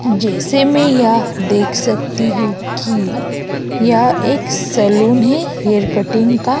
जैसा मैं या देख सकती हूं कि यह एक सलून है हेयर कटिंग का।